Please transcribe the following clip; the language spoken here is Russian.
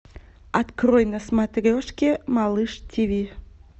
открой на смотрешке малыш тв